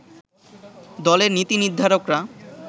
দলের নীতি নির্ধারকরা